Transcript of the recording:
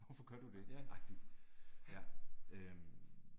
Ja, ja